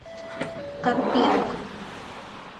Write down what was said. карпенко